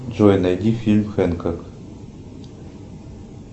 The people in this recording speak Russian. джой найди фильм хэнкок